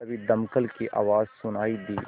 तभी दमकल की आवाज़ सुनाई दी